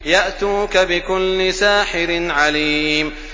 يَأْتُوكَ بِكُلِّ سَاحِرٍ عَلِيمٍ